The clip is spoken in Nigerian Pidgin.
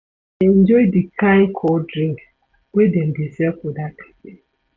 I dey enjoy di kain cold drinks wey dem dey sell for dat cafe.